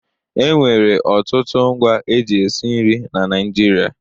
E nwere ọtụtụ ngwa e ji esi nrị na Naịjirịa.